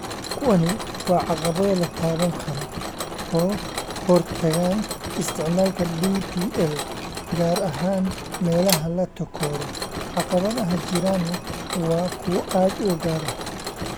Kuwani waa caqabado la taaban karo oo hortaagan isticmaalka DPL, gaar ahaan meelaha la takooro, caqabadaha jirana waa kuwo aad u gaar ah.